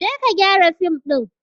Je ka gyara fim din!